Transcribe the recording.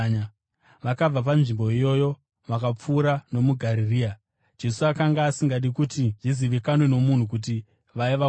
Vakabva panzvimbo iyoyo vakapfuura nomuGarirea. Jesu akanga asingadi kuti zvizivikanwe nomunhu kuti vaiva kupi,